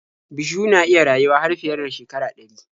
Bishiyu na iya rayuwa har fiye da shekara ɗari.